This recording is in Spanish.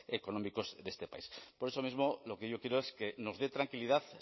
económicos de este país por eso mismo lo que quiero es que nos dé tranquilidad